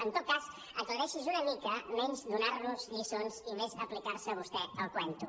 en tot cas aclareixi’s una mica menys donar·nos lliçons i més aplicar·se vostè el cuento